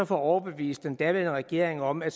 få overbevist den daværende regering om at